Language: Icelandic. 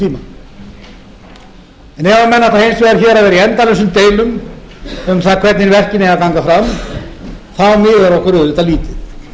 ef menn ætla hins vegar hér að vera í endalausum deilum um það hvernig verkin eigi að ganga fram miðar okkur auðvitað lítið